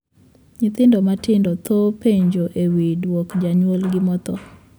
Nyithindo matindo thoro penjo e wii duok janyuolgi mothoo.